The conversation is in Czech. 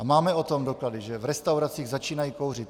A máme o tom doklady, že v restauracích začínají kouřit.